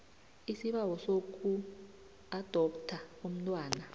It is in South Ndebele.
isibawo sokuadoptha umntwana